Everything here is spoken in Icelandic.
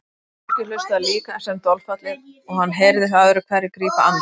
Fólkið hlustaði líka sem dolfallið og hann heyrði það öðru hverju grípa andköf.